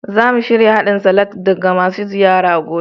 Za mu shirya hadin salad ga masu ziyara gobe.